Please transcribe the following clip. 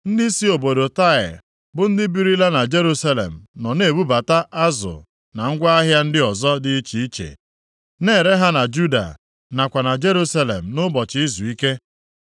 Ndị si obodo Taịa, bụ ndị birila na Jerusalem nọ na-ebubata azụ na ngwa ahịa ndị ọzọ dị iche iche, na-ere ha na Juda, nakwa na Jerusalem nʼụbọchị izuike.